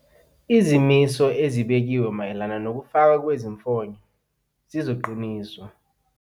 Izimiso ezibekiwe mayelana nokufakwa kwezimfonyo zizoqiniswa.